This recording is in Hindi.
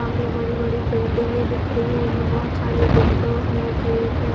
सामने बड़ी-बड़ी बिल्डिंगे दिख रही हैं बहुत सारे विंडो है गेट है।